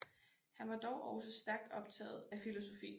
Han var dog også stærkt optaget af filosofi